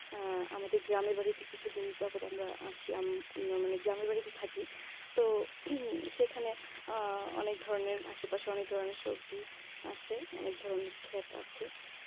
আহ আমাদের গ্রামের বাড়িতে কিছুদিন যাবত আমরা আছি, মানে গ্রামের বাড়িতে থাকি তো সেখানে আহ অনেক ধরনের আশেপাশে অনেক ধরনের সবজি আছে অনেক ধরনের ক্ষেত আছে